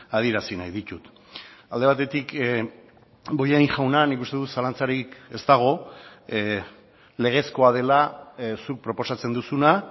adierazi nahi ditut alde batetik bollain jauna nik uste dut zalantzarik ez dago legezkoa dela zuk proposatzen duzuna